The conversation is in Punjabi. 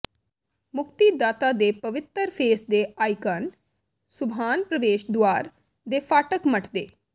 ਮੁਕਤੀਦਾਤਾ ਦੇ ਪਵਿੱਤਰ ਫੇਸ ਦੇ ਆਈਕਾਨ ਸੁਬਹਾਨ ਪ੍ਰਵੇਸ਼ ਦੁਆਰ ਦੇ ਫਾਟਕ ਮੱਠ ਦੇ